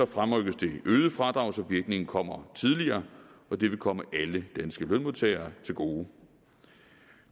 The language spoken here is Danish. fremrykkes det øgede fradrag så virkningen kommer tidligere og det vil komme alle danske lønmodtagere til gode